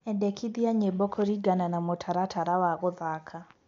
endekithia nyĩmbo kuringana na mũtaratara wa guthaka